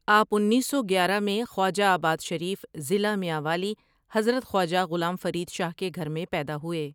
آپ انیس سو گیارہ میں خواجہ آباد شریف ضلع میانوالی حضرت خواجہ غلام فرید شاہ کے گھر میں پیدا ہوئے ۔